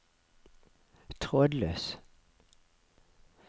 trådløs